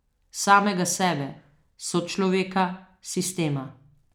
Samega sebe, sočloveka, sistema.